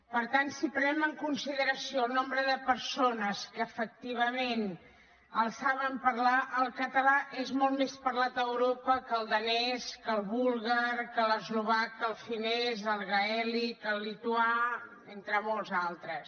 per tant si prenem en consideració el nombre de persones que efectivament el saben parlar el català és molt més parlat a europa que el danès que el búlgar que l’eslovac que el finès el gaèlic el lituà entre molts altres